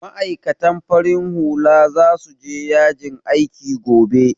Ma'aikatan farin hula za su je yajin aiki gobe